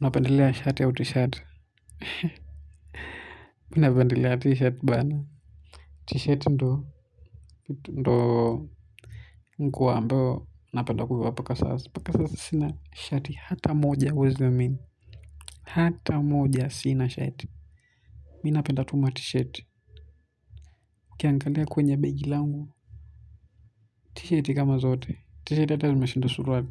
Unapendelea shati au t-shirt unapendelea t-shirt bana t-shirt ndoo nguo ambao unapenda kuvaa paka sasa paka sasa sina t-shirt hata moja uwezi amini hata moja sina t-shirt minapenda tu ma t-shirt kiangalia kwenye begi langu t-shirt kama zote t-shirt hata umeshinda suruali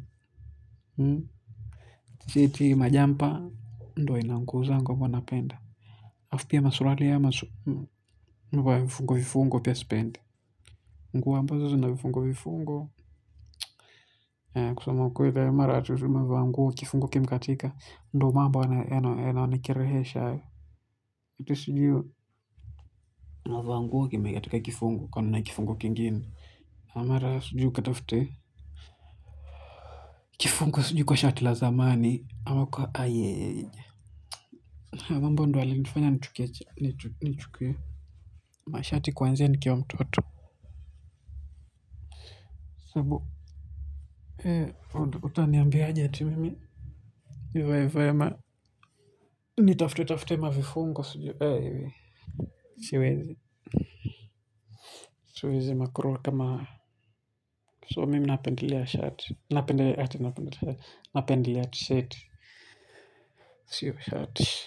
t-shirt majampa ndo inanguza nguwa wana penda afu pia masuruali ya masu nguo fungo vifungo pia spend. Nguo ambazo zina vifungo vifungo. Kusama mkweli mara ati tu navaa nguwo kifungo kimkatika. Ndo mambo yanayoni kirehesha. Ito sijui. Navaa nguo kimekatika kifungo kwa nana kifungo kingini. Amara sujiu katafute. Kifungo sujiu kwa shati la zamani. Amako ayye. Ambo ndo yale nifanya nchukie. Ma shati kwanzia ni kiwa mtoto. Sabu. Ea uta niambianya je mimi. Nivaye nivaye ma. Ni tafti tafti ma vifungo siwezi siwezi makuro kama so mimi napendili ya chat napende napende ya chat napende t shat siwo shat.